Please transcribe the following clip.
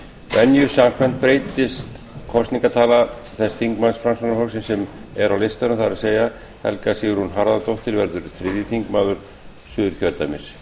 venju samkvæmt breytist kosningatala þess þingmanns framsóknarflokksins sem er á listanum það er helga sigrún harðardóttir verður þriðji þingmaður suðurkjördæmis